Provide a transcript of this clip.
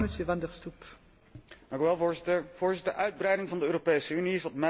Voorzitter, uitbreiding van de Europese Unie is wat mij betreft totaal niet aan de orde.